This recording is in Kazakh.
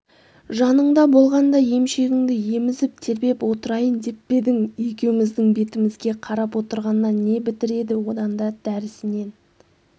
жаныңда болғанда емшегіңді емізіп тербеп отырайын деп пе едің екеуіміздің бетімізге қарап отырғаннан не бітіреді одан да дәрісінен